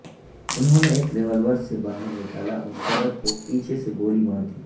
انہوں نے ایک ریوولور سے باہر نکالا اور صدر کو پیچھے سے گولی مار دی